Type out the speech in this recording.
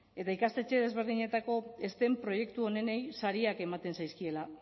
eta ikastetxe desberdinetako stem proiektu onenei sariak ematen zaizkiela